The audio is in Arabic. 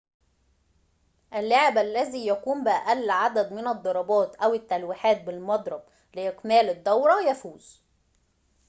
اللاعب الذي يقوم بأقل عدد من الضربات أو التلويحات بالمضرب لإكمال الدورة يفوز